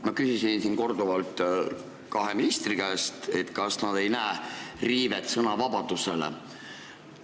Ma küsisin korduvalt kahe ministri käest, kas nad ei näe siin sõnavabaduse riivet.